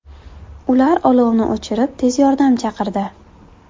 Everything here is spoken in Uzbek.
Ular olovni o‘chirib, tez yordam chaqirdi.